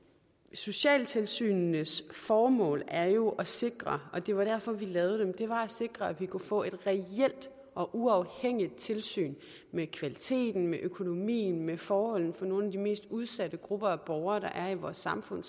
socialtilsynenes formål er jo at sikre og det var derfor vi lavede dem at vi kunne få et reelt og uafhængigt tilsyn med kvaliteten med økonomien med forholdene for nogle af de mest udsatte grupper af borgere der er i vores samfund